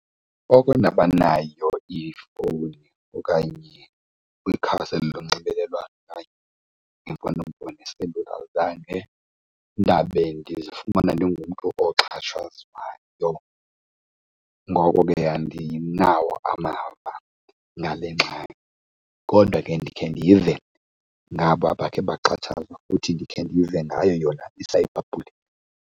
Oko ndabanayo ifowuni okanye kwikhasi eli lonxibelelwano okanye imfonomfono, iselula, zange ndabe ndizifumane ndingumntu oxhatshazwayo. Ngoko ke andinawo amava ngale ngxaki kodwa ke ndikhe ndive ngaba bakhe baxhatshazwa futhi ndikhe ndive ngayo yona i-cyberbullying.